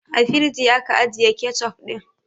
A firigi aka ajiye kecof ɗin